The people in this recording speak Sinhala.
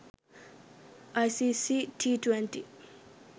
icc t20